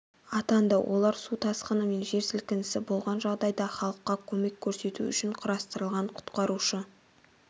атанды олар су тасқыны мен жер сілкінісі болған жағдайда халыққа көмек көрсету үшін құрастырылған құтқарушы